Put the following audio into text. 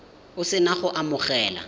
o se na go amogela